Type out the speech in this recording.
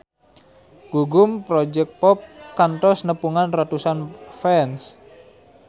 Gugum Project Pop kantos nepungan ratusan fans